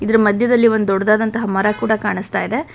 ಮಧ್ಯದಲ್ಲಿ ಒಂದು ದೊಡ್ಡದಾದಂತಹ ಮರ ಕೂಡ ಕಾಣುಸ್ತಾಯಿದೆ.